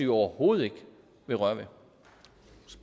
overhovedet ikke vil røre